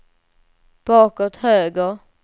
bakåt höger